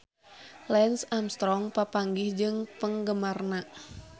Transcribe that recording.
Lance Armstrong papanggih jeung penggemarna